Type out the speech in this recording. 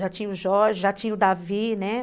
Já tinha o Jorge, já tinha o Davi, né?